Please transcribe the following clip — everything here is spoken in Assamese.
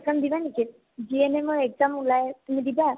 exam দিবা নেকি? GNM ৰ exam ওলাই আছে, তুমি দিবা নেকি?